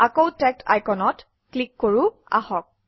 আকৌ টেগড আইকনত ক্লিক কৰোঁ আহক